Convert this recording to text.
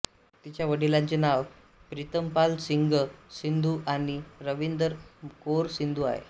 तिच्या वडिलांचे नाव प्रितमपाल सिंग संधू आणि रबिंदर कौर संधू आहे